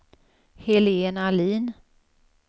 Helen Ahlin